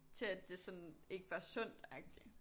Til at det sådan ikke var sundt agtig